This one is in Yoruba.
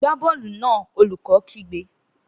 Gbá bọ́ọ̀lù náà! Olùkó kígbe